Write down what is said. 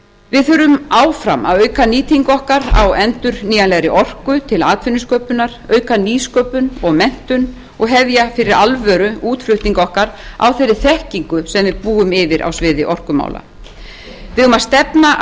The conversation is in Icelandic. við þurfum áfram að auka nýtingu okkar á endurnýjanlegri orku til atvinnusköpunar auka nýsköpun og menntun og hefja fyrir alvöru útflutning okkar á þeirri þekkingu sem við búum yfir á sviði orkumála við eigum að stefna